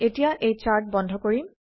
এতিয়া এই চাৰ্ট বন্ধ কৰিম